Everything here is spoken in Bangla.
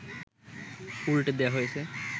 উল্টে দেয়া হয়েছে